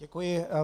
Děkuji.